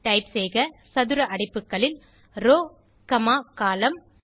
type செய்க சதுர அடைப்புகளில் ரோவ் காமா கோலம்ன்